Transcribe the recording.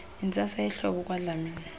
yintsasa yehlobo kwadlamini